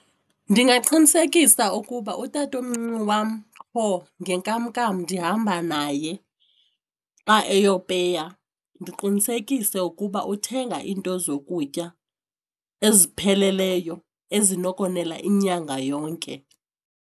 Ndingaqinisekisa ukuba utatomncinci wam qho ngenkmnkam ndihamba naye xa eyopeya, ndiqinisekise ukuba uthenga iinto zokutya ezipheleleyo ezinokonela inyanga yonke.